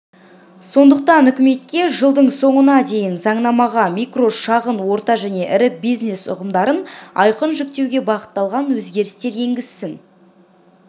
сондықтан үкімет жылдың соңына дейін заңнамаға микро шағын орта және ірі бизнес ұғымдарын айқын жіктеуге бағытталған өзгерістер енгізсін